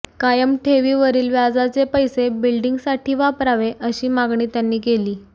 कायम ठेवीवरील व्याजचे पैसे बिल्डींगसाठी वापरावे अशी मागणी त्यांनी केली